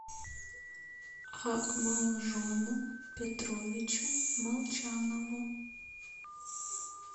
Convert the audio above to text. акмалжону петровичу молчанову